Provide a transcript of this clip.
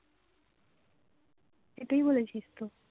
এটাই বলেছিস তো